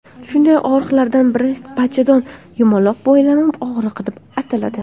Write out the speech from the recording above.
Shunday og‘riqlardan biri bachadon yumaloq boylami og‘rig‘i deb ataladi.